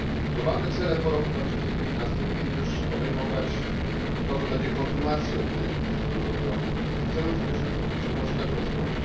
Globalne cele po roku 2015 powinny też obejmować to, co będzie kontynuacją milenijnych celów rozwojowych i celów w zakresie zrównoważonego rozwoju.